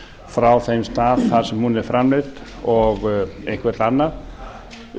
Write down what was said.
frá þeim stað þar sem hún er framleidd og eitthvert annað